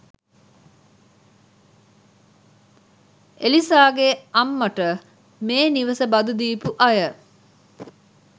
එලිසාගෙ අම්මට මේ නිවස බදු දීපු අය